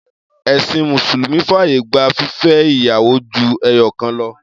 Ẹ̀̀sìn mùsùlùmí fàyè gba fífẹ́ ìyàwó ju ẹyọ̀kan lọ.